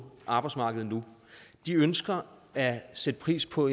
arbejdsmarkedet nu ønsker at sætte pris på